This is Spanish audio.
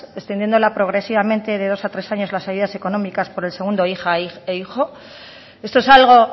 descendiéndola progresivamente de dos a tres años las ayudas económicas por el segundo hija e hijo esto es algo